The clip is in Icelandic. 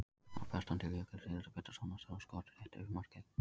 Þar berst hann til Jökuls Elísabetarsonar sem á skot rétt yfir markið.